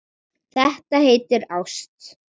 Þetta heitir ást.